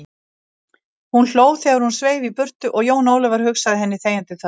Hún hló þegar hún sveif í burtu og Jón Ólafur hugsað henni þegjandi þörfina.